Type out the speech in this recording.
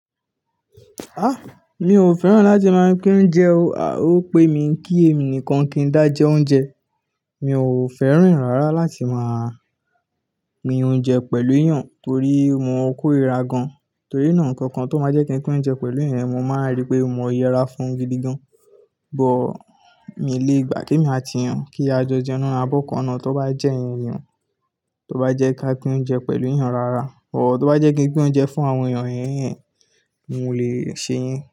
Mi ò fẹ́ràn láti máa pín oúnjẹ o. O pé mi ń kí èmi nìkan kí n dá jẹ oúnjẹ. Mi ò fẹ́ràn rárá láti máa pín oúnjẹ pẹ̀lú èèyàn torí mo korira gan. Torí náà, nǹkan kan tó máa jẹ kí n pín oúnjẹ pẹ̀lú èèyàn, mo máa ń rí pé mo yẹra fún un gidi gan. But, mi ò lè gbà kí èmi àti èèyàn kí a jọ jẹun nínú abọ́ kan ná. Tó bá jẹ́ ìyẹn ni o, tó bá jẹ́ ká pín oúnjẹ pẹ̀lú èèyàn rárá, but tó bá jẹ́ kí n pín oúnjẹ fún àwọn èèyàn hẹ́hẹ́n, n ò lè ṣe ìyẹn.